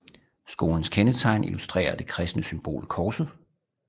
Skolens kendetegn illustrerer det kristne symbol korset